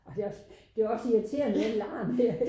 Ej det også det også irriterende den larm der